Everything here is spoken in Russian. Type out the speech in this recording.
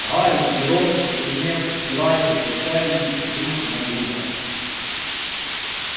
гарри и рон побледнев взирали с отчаянием друг на друга